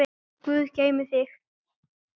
Góður Guð geymi þig.